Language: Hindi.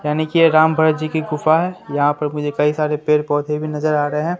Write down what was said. यानी कि ये राम भरत जी की गुफ़ा है यहां पर मुझे कई सारे पेड़ पौधे भी नजर आ रहे हैं।